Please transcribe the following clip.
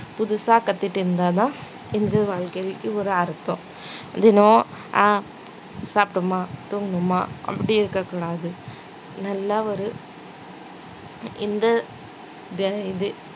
புதுசா கத்துக்கிட்டு இருந்தாதான் இது வாழ்க்கைக்கு ஒரு அர்த்தம் தினம் அஹ் சாப்பிட்டோமா தூங்குனோமா அப்படி இருக்கக் கூடாது நல்லா ஒரு இந்த இது